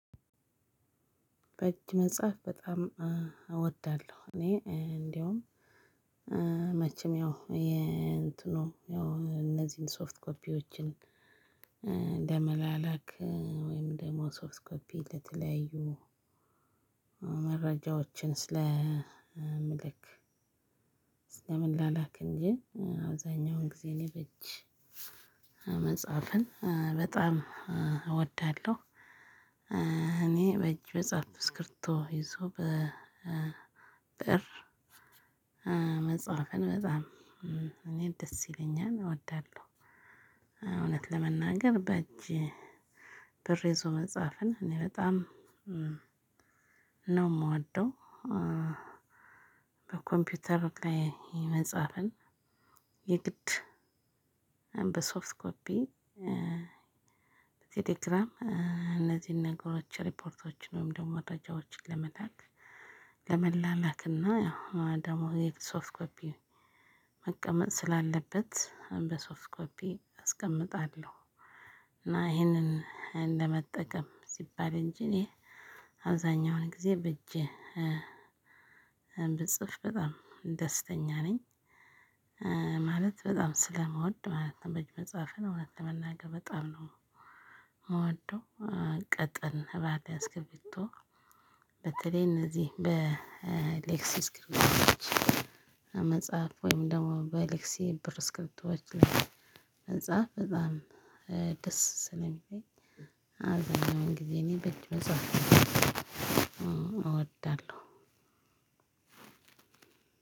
በእጅ መጻፍ በጣም እወዳለሁ እኔ እንዲያውም መቼም ያው የእንትኑ ያው እነዚህን ሶፍት ኮፒዎችን ለመላላክ ወይም ደግሞ ሶፍትኮፒ ለተለያዩ መረጃዎችን ስለምልክ ስለምላላክ እንጂ አብዛኛውን ጊዜ እኔ በእጅ መጻፍን በጣም እወዳለሁ። እኔ በእጅ መጻፍ ስክርቢቶ ይዞ በብእር መጻፍን በጣም እኔ ደስ ይለኛል እወዳለሁ። እውነት ለመናገር በእጅ ብእር ይዞ መጻፍን እኔ በጣም ነው ምወደው። በኮምፒውተር ላይ መጻፍን የግድ በሶፍት ኮፒ ቴሌግራም እነዚህን ነገሮች ሪፖርቶችን ወይም ደግሞ መረጃዎችን ለመላክ ለመላላክ እና ያው ደግሞ የሶፍት ኮፒ መቀመጥ ስላለበት በሶፍት ኮፒ አስቀምጣለሁ። እና ይሄንን እንደመጠቀም ሲባል እንጂ እኔ አብዛኛውን ጊዜ በእጄ ብጽፍ በጣም ደስተኛ ነኝ። ማለት በጣም ስለምወድ ማለት ነው። በእጅ መጻፍን እውነት ለመናገር በጣም ምወደው ቀጠን ባለ እስክርቢቶ በተለይ እነዚህ በሌክሲ እስክርቢቶዎች መጻፍ ወይም ደግሞ በሌክሲ እስክርቢቶዎች መጻፍ በጣም ደስ ሲለሚለኝ አብዛኛውን ግዜ እኔ በእጅ መጻፍ እወዳለው።